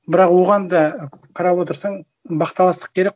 бірақ оған да қарап отырсаң бақталастық керек